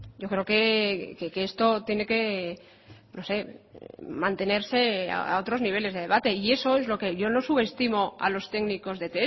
yo creo que esto tiene que mantenerse a otros niveles de debate y eso es lo que yo no subestimo a los técnicos de